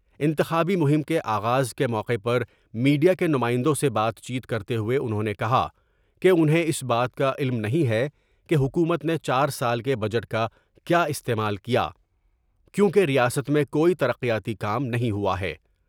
انتخابی مہم کے آغاز کے موقع پر میڈیا کے نمائندوں سے بات چیت کر تے ہوئے انہوں نے کہا کہ انہیں اس بات کا علم نہیں ہے کہ حکومت نے چار سال کے بجٹ کا کیا استعمال کیا کیونکہ ریاست میں کوئی ترقیاتی کام نہیں ہوا ہے ۔